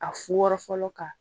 A fu wɔrɔ fɔlɔ ka